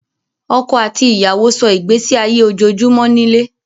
Ọkọ̀ àti ìyàwó sọ́ ìgbésí ayé ojoojúmọ́ nílé